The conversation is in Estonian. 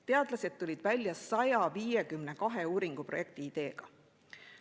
Teadlased tulid välja 152 uuringuprojekti ideega.